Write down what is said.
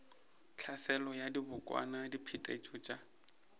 tlhaselo ya dibokwana diphetetšo tša